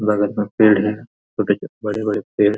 लगातार पेड़ है और देखिए बड़े-बड़े पेड़ ।